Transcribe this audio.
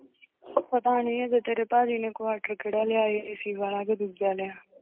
ਪਤਾ ਨੀ ਹਜੇ ਤੇਰੇ ਭਾਜੀ ਨੇ quarter ਕਿਹੜਾ ਲਿਆ ਹੈ AC ਵਾਲਾ ਕਿ ਦੂਜਾ ਲਿਆ।